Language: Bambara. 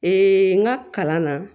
n ka kalan na